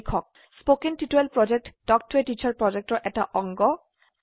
কথন শিক্ষণ প্ৰকল্প তাল্ক ত a টিচাৰ প্ৰকল্পৰ এটা অংগ